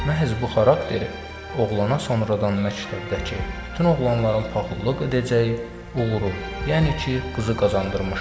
Məhz bu xarakteri oğlana sonradan məktəbdəki bütün oğlanların paxıllıq edəcəyi uğuru, yəni ki, qızı qazandırmışdı.